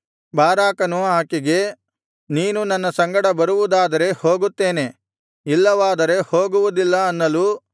ಬಾರಾಕನು ಆಕೆಗೆ ನೀನು ನನ್ನ ಸಂಗಡ ಬರುವುದಾದರೆ ಹೋಗುತ್ತೇನೆ ಇಲ್ಲವಾದರೆ ಹೋಗುವುದಿಲ್ಲ ಅನ್ನಲು